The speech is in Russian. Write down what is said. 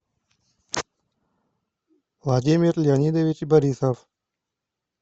владимир леонидович борисов